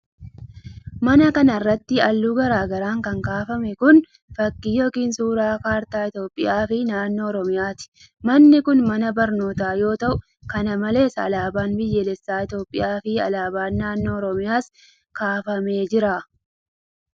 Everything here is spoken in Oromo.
Mana kana irratti haalluu garaa garaan kan kaafame kun, fakkii yokin suura kaartaa Itoophiyaa fi naannoo Oromiyaati. Manni kun, mana barnootaa yoo ta'u ,kana malees alaabaan biyyaalessa Itoophiyaa fi alaabaan naannoo Oromiyaas ni kaafamee jira.